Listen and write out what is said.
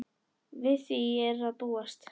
Við því er að búast.